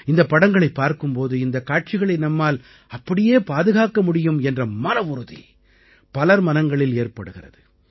இந்தப் படங்களைப் பார்க்கும் போது இந்தக் காட்சிகளை நம்மால் அப்படியே பாதுகாக்க முடியும் என்ற மனவுறுதி பலர் மனங்களில் ஏற்படுகிறது